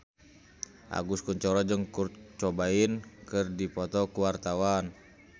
Agus Kuncoro jeung Kurt Cobain keur dipoto ku wartawan